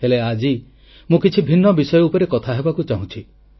ହେଲେ ଆଜି ମୁଁ କିଛି ଭିନ୍ନ ବିଷୟ ଉପରେ କଥା ହେବାକୁ ଚାହୁଁଛି